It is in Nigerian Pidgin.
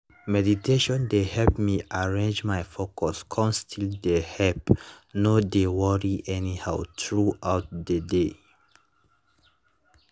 meditation dey help me arrange my focus come still dey help no dey worry anyhow throughout the day